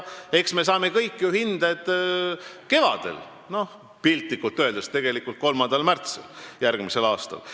Eks me kõik saame piltlikult öeldes hinded kevadel, 3. märtsil järgmisel aastal.